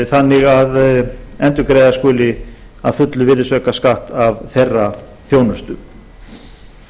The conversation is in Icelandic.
þannig að endurgreiða skuli að fullu virðisaukaskatt af þeirra þjónustu ég fagna því